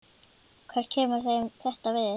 Hvað kemur þeim þetta við?